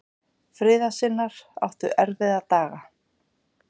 Friðarsinnar áttu erfiða daga.